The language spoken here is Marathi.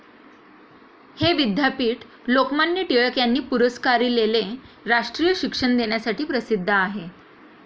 हे विद्यापीठ लोकमान्य टिळक यांनी पुरस्कारिलेले राष्ट्रीय शिक्षण देण्यासाठी प्रसिद्ध आहे.